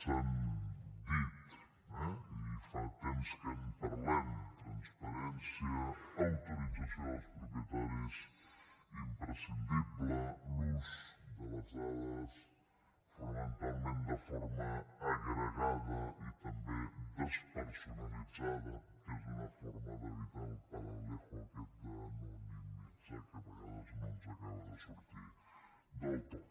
s’han dit eh i fa temps que en parlem transparència autorització dels propietaris imprescindible l’ús de les dades fonamentalment de forma agregada i també despersonalitzada que és una forma d’evitar el palabrejo aquest d’anonimitzar que a vegades no ens acaba de sortir del tot